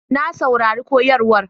Na saurari koyarwar